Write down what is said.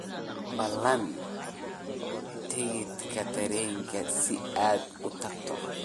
ballan tigidh tareen si aad u tagto